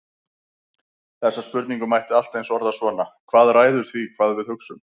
Þessa spurningu mætti allt eins orða svona: Hvað ræður því hvað við við hugsum?